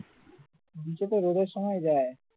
beach এতো রোদের সময়ই যায়